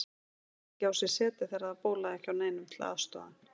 Gat ekki á sér setið þegar það bólaði ekki á neinum til að aðstoða hann.